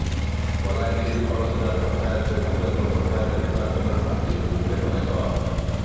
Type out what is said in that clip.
ବଲାଙ୍ଗୀର ଭରସୁଜା ପଞ୍ଚାୟତରେ ବିଗତ ପଞ୍ଚାୟତ ନିର୍ବାଚନରେ ପ୍ରାର୍ଥୀ ହୋଇଥିଲେ ଗଣେଶ